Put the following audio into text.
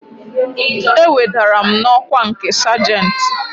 E wedara m n'ọkwa nke sajentị